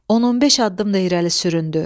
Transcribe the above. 115 addım da irəli sürüldü.